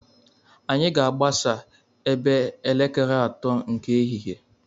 Anyị ga-agbasa ebe elekere atọ nke ehihie.